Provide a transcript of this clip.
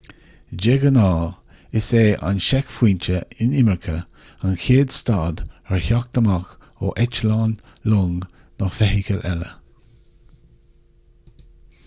de ghnáth is é an seicphointe inimirce an chéad stad ar theacht amach ó eitleán long nó feithicil eile